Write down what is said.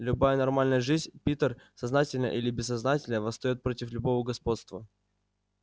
любая нормальная жизнь питер сознательно или бессознательно восстаёт против любого господства